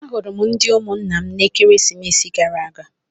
Ahụrụ ndị ụmụnna m n'ekeresimesi gara aga.